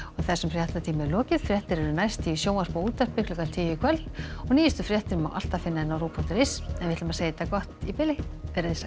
þessum fréttatíma er lokið fréttir verða næst í sjónvarpi og útvarpi klukkan tíu í kvöld og nýjustu fréttir má alltaf finna á ruv punktur is en við segjum þetta gott í bili verið þið sæl